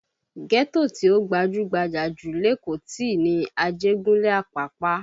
Ghetto tí ó gbajú-gbajà jù lékòó ti ní Ajegunle Apapa